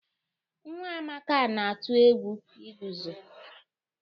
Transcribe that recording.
Nwa Amaka na-atụ egwu iguzo.